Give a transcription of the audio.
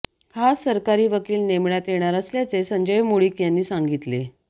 खास सरकारी वकील नेमण्यात येणार असल्याचे संजय मुळीक यांनी सांगितले